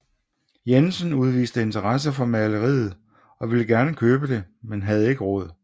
Jensen udviste interesse for maleriet og ville gerne købe det men havde ikke råd